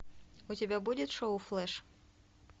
у тебя будет шоу флеш